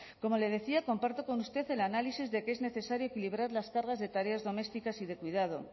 como le decía comparto con usted el análisis de que es necesario equilibrar las cargas de tareas domésticas y de cuidado